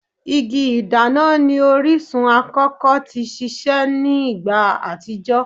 Igi-ìdana ni orisun akọkọ ti sise ni igba atijọ